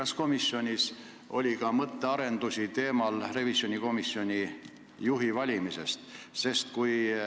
Kas komisjonis oli ka mõttearendusi revisjonikomisjoni juhi valimisest?